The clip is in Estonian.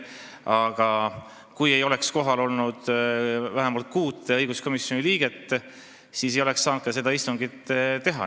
Aga kui ei oleks kohal olnud vähemalt kuut õiguskomisjoni liiget, siis ei oleks saanud seda istungit teha.